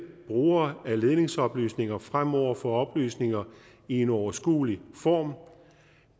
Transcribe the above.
brugere af ledningsoplysninger fremover få oplysninger i en overskuelig form